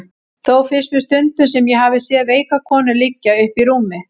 Þó finnst mér stundum sem ég hafi séð veika konu liggja uppi í rúmi.